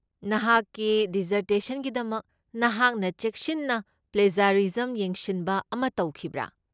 ꯅꯍꯥꯛꯀꯤ ꯗꯤꯖꯔꯇꯦꯁꯟꯒꯤꯗꯃꯛ ꯅꯍꯥꯛꯅ ꯆꯦꯛꯁꯤꯟꯅ ꯄ꯭ꯂꯦꯖ꯭ꯌꯥꯔꯤꯖꯝ ꯌꯦꯡꯁꯤꯟꯕ ꯑꯃ ꯇꯧꯈꯤꯕ꯭ꯔꯥ?